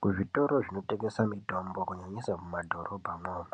Kuzvitoro zvinotengesa mitombo kunyanyisa mumadhorobhamwomwo